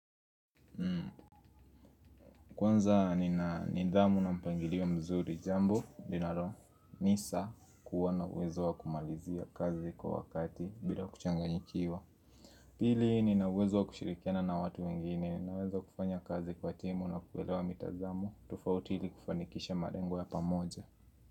Kwanza nina nidhamu na mpangilio mzuri jambo linalo nisa kuwa na uwezo wa kumalizia kazi kwa wakati bila kuchanganyikiwa. Pili nina uwezo wa kushirikiana na watu wengine naweza kufanya kazi kwa timu na kuelewa mitazamo tofauti ili kufanikisha malengo ya pamoja.